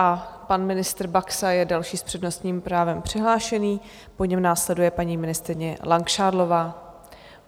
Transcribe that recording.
A pan ministr Baxa je další s přednostním právem přihlášený, po něm následuje paní ministryně Langšádlová.